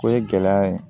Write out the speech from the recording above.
O ye gɛlɛya ye